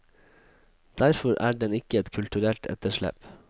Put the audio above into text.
Derfor er den ikke et kulturelt etterslep.